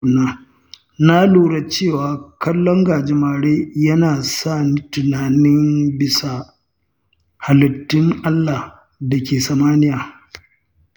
Na lura cewa kallon gajimare yana sa ni tunani bisa halittun Allah da ke samaniya